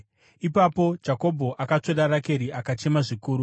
Ipapo Jakobho akatsvoda Rakeri akachema zvikuru.